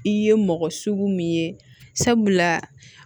I ye mɔgɔ sugu min ye sabula